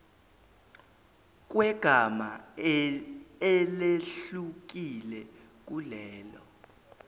kwegama elehlukile kulelo